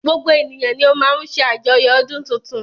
Gbogbo ènìyàn ni o má ń ṣe àjoyo ọdún tuntun.